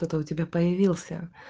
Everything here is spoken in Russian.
кто то у тебя появился